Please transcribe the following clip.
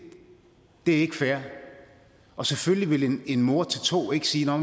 er ikke fair og selvfølgelig ville en mor til to ikke sige nå